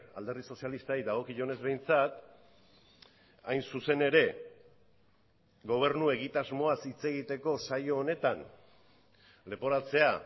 alderdi sozialistari dagokionez behintzat hain zuzen ere gobernu egitasmoaz hitz egiteko saio honetan leporatzea